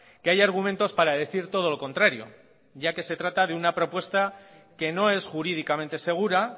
que hay argumentos para decir todo lo contrario ya que se trata de una propuesta que no es jurídicamente segura